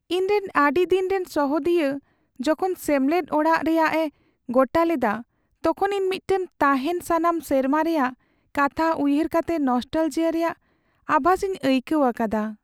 ᱤᱧᱨᱮᱱ ᱟᱹᱰᱤᱫᱤᱱ ᱨᱮᱱ ᱥᱚᱦᱮᱫᱤᱭᱟᱹ ᱡᱚᱠᱷᱚᱱ ᱥᱮᱢᱞᱮᱫ ᱟᱲᱟᱜ ᱨᱮᱭᱟᱜ ᱮ ᱜᱚᱴᱟ ᱞᱮᱫᱟ ᱛᱚᱠᱷᱚᱱ ᱤᱧ ᱢᱤᱫᱛᱮ ᱛᱟᱦᱮᱱ ᱥᱟᱱᱟᱢ ᱥᱮᱨᱢᱟ ᱨᱮᱭᱟᱜ ᱠᱟᱛᱷᱟ ᱩᱭᱦᱟᱹᱨ ᱠᱟᱛᱮ ᱱᱚᱥᱴᱟᱞᱡᱤᱭᱟᱹ ᱨᱮᱭᱟᱜ ᱟᱵᱷᱟᱥ ᱤᱧ ᱟᱹᱭᱠᱟᱹᱣ ᱟᱠᱟᱫᱟ ᱾